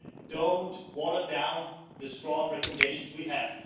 Do not water down the strong recommendations we have.